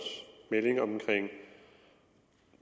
melding om